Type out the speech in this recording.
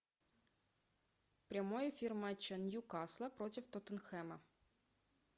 прямой эфир матча ньюкасла против тоттенхэма